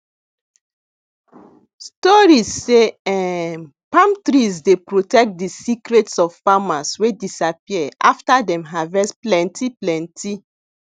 stories sey um palm trees dey protect de secrets of farmers wey disappear after dem harvest plenty plenty